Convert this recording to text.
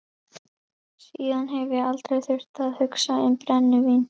Síðan hef ég aldrei þurft að hugsa um brennivín.